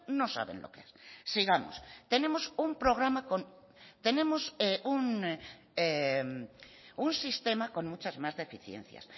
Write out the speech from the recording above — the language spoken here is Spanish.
no saben lo que es sigamos tenemos un programa con tenemos un sistema con muchas más deficiencias